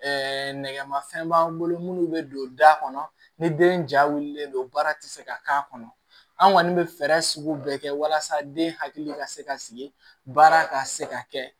nɛgɛmafɛn b'an bolo munnu bɛ don da kɔnɔ ni den ja wililen don baara tɛ se ka k'a kɔnɔ an kɔni bɛ fɛɛrɛ sugu bɛɛ kɛ walasa den hakili ka se ka sigi baara ka se ka kɛ